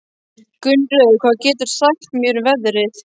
Gunnröður, hvað geturðu sagt mér um veðrið?